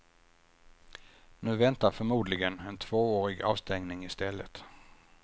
Nu väntar förmodligen en tvåårig avstängning i stället.